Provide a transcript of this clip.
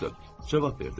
Cavab verdim.